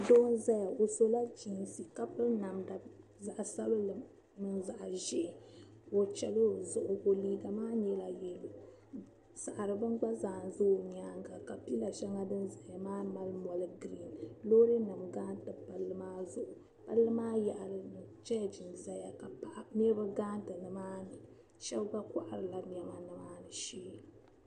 Doo zaya o sula geensi ka piri namda zaɣ'sabinli mini zaɣ'ʒee o chɛla o zuɣu liiga maa nyɛla yeelo saɣiri beni gba zaa ʒi o nyaaŋa ka pila gba shɛli din zaya nyɛ zaɣi'geerin loorinima gariti palli maa zuɣu palli maa yaɣili choochu ʒiya niriba gariti ni maani shɛba gba kɔhirila nema ni maani shee